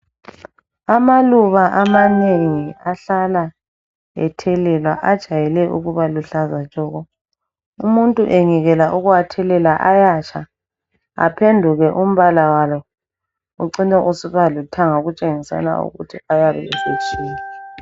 Amaluba amanengi ahlala ethelelwa ajayele ukuba luhlaza tshoko. Umuntu engekela ukuwathelela ayatsha aphenduke umbala walo ucine usiba lithanga okutshengisela ukuthi ayabe esezwile.